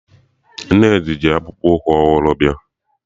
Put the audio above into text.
Nnedi ji akpụkpụ ụkwụ ọhụrụ bịa